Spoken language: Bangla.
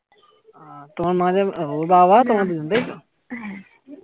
তোমার মা যাবে ওর বাবা আর তোমরা দুজন তাই তো